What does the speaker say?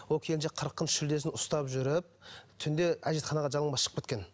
ол келіншек қырық күн шілдесін ұстап жүріп түнде әжетханаға жалаңбас шығып кеткен